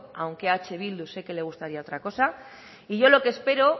aunque a eh bildu sé que le gustaría otra cosa y yo lo que espero